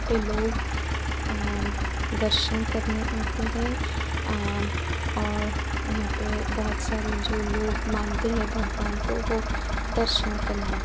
पे लोग अंम् दर्शन करने आतें है अंम् और यहाॅं पे बहोत सारे जो लोग मानते है भगवान को वो दर्शन करने आ --